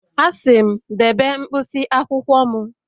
Asị m, debe mkpịsị akwụkwọ m